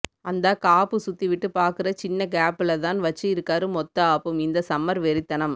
அந்தா காப்பு சுத்தி விட்டு பாக்குற சின்ன கேப்புல தான் வச்சு இருக்காறு மொத்த ஆப்பும் இந்த சம்மர் வெறித்தனம்